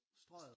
Strøget